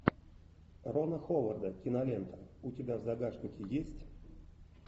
рона ховарда кинолента у тебя в загашнике есть